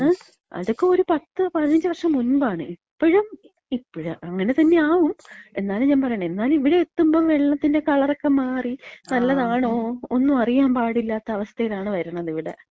ങാ? അതൊക്കെ ഒരു 10, 15 വർഷം മുൻപാണ്. ഇപ്പഴും ഇപ്പഴും അങ്ങനെതന്നാവും. എന്നാലും ഞാ പറയണെ, ഇവ്ടെ എത്തുമ്പം വെള്ളത്തിന്‍റെ കളറൊക്കെ മാറി, നല്ലതാണോ ഒന്നും അറിയാൻ പാടില്ലാത്ത അവസ്ഥേലാണ് വര്ന്നത് ഇവിടെ.